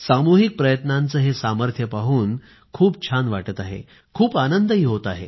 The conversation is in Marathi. सामूहिक प्रयत्नांचे हे सामर्थ्य पाहून खूप छान वाटत आहे खूप आनंद होत आहे